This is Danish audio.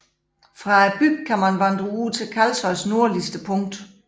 Fra bygden kan man vandre ud til Kalsoys nordligste punkt